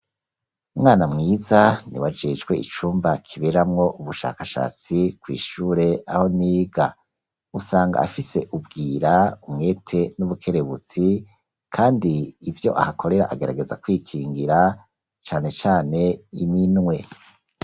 Umwana mwiza niwe ajejwe icumba kiberamwo ubushakashatsi kw'ishure aho niga usanga afise ubwira umwete n'ubukerebutsi kandi ivyo ahakorera ageragaza kwikingira cane cane iminwe.